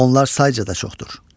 Onlar sayca da çoxdur.